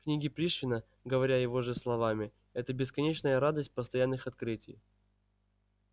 книги пришвина говоря его же словами это бесконечная радость постоянных открытий